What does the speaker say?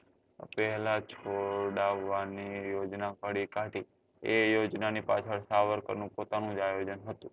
પહેલા છોડાવવા ની યોજના ખોલી કાઢી એ યોજના ની પાછળ સાવરકર નું પોતાનું જ આયોજન હતું